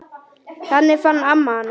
Þannig fann amma hana.